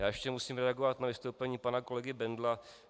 Já ještě musím reagovat na vystoupení pana kolegy Bendla.